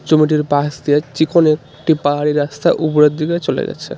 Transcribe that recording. ছবিটির পাশ দিয়ে চিকন একটি পাহাড়ি রাস্তা উপরের দিকে চলে গেছে .